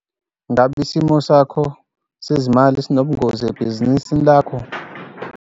Ngabe isimo sakho sezimali sinobungozi ebhizinisini lakho?